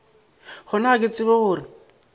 gona ga ke tsebe gore